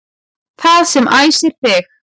Það sem æsir þig